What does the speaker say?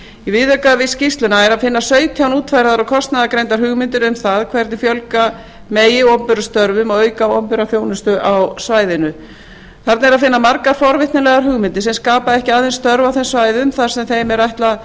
í viðauka við skýrsluna er að finna sautján útfærðar og kostnaðargreindar hugmyndir um það hvernig fjölga megi opinberum störfum og auka opinbera þjónustu á svæðinu þarna er að finna margar forvitnilegar hugmyndir sem skapa ekki aðeins störf á þeim svæðum sem þeim er